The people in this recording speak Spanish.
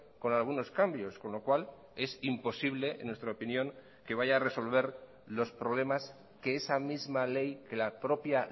con algunos cambios con lo cual es imposible en nuestra opinión que vaya a resolver los problemas que esa misma ley que la propia